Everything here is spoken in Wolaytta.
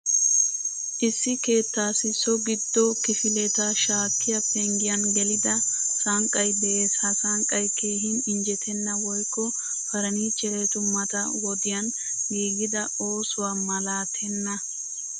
Issi keettassi so giddo kifiletta shakkiyaa penggiyan gelida sanqqay de'ees. Ha sanqqay keehin injjettena woykko furnichcherettu mata wodiyan giigida oosuwaa malatenna.